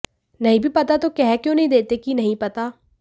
नहीं भी पता तो कह क्यों नहीं देते कि नहीं पता